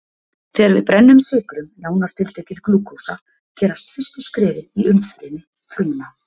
Þegar við brennum sykrum, nánar til tekið glúkósa, gerast fyrstu skrefin í umfrymi frumna.